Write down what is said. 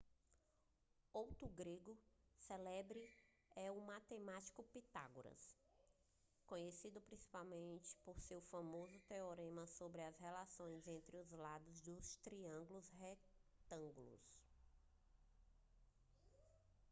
outro grego célebre é o matemático pitágoras conhecido principalmente por seu famoso teorema sobre as relações entre os lados dos triângulos retângulos